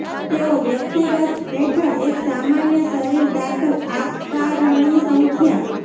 તેઓ વ્યક્તિગત હેઠળ એક સામાન્ય શરીર દાખલ આકારણી સંખ્યા